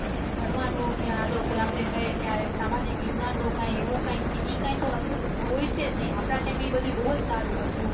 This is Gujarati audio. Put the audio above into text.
ફરવા નું આ લોકો આપડે કહી એ સામાજિક વિજ્ઞાન નું એ કઈ હતું હવે એ છે જ ની આપડા time એ બહુ સારું હતું